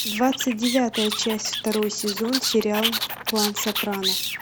двадцать девятая часть второй сезон сериал клан сопрано